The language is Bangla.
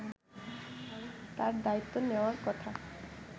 তাঁর দায়িত্ব নেওয়ার কথা